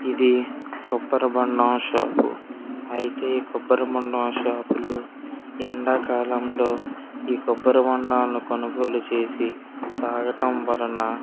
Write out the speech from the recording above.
ఇది కొబ్బరిబోండం షాప్ అయితే కొబ్బరి బోండం షాప్ లో ఎండాకాలంలో ఈ కొబ్బరి బోండాలను కొనుగోలు చేసి తాగడం వలన --